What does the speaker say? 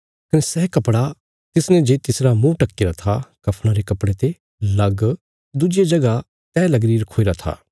कने सै कपड़ा तिसने जे तिसरा मुँह ढक्कीरा था कफ़णा रे कपड़े ते लग दुज्जिया जगह तैह लगीरा रखोईरा था